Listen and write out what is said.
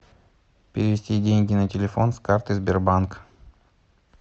перевести деньги на телефон с карты сбербанк